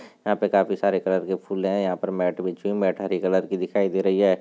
यहा पे काफी सारे कलर के फूल है यहा पे मेट बिछी हुई मेट हरी कलर की दिखाई दे रही है।